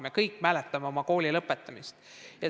Me kõik mäletame oma koolide lõpetamist.